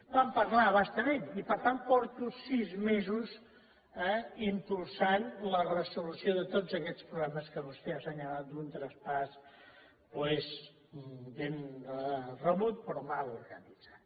vam parlar a bastament i per tant fa sis mesos eh que impulso la resolució de tots aquests problemes que vostè ha assenyalat d’un traspàs doncs ben rebut però mal organitzat